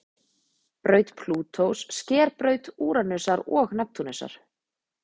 braut plútós sker braut úranusar og neptúnusar